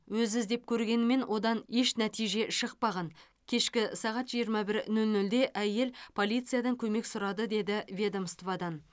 өз іздеп көргенімен одан еш нәтиже шықпаған кешкі сағат жиырма бір нөл нөлде әйел полициядан көмек сұрады деді ведомстводан